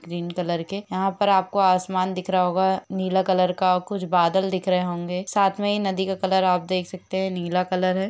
green colour के यहा पर आपको आसमान दिख् रहा होगा नीला कलर और कुछ बादल दिख् रहे होंगे साथ मे नदी का कलर आप देख सकते है नीला कलर है